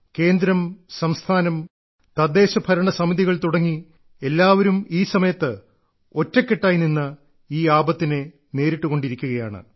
കേന്ദ്രം സംസ്ഥാനം തദ്ദേശഭരണ സമിതികൾ തുടങ്ങി എല്ലാവരും ഈ സമയത്ത് ഒറ്റക്കെട്ടായിനിന്ന് ഈ ആപത്തിനെ നേരിട്ടുകൊണ്ടിരിക്കുകയാണ്